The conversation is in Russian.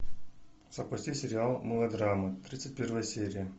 запусти сериал мылодрама тридцать первая серия